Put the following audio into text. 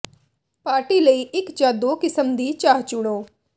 party ਲਈ ਇਕ ਜਾਂ ਦੋ ਕਿਸਮ ਦੀ ਚਾਹ ਚੁਣੋ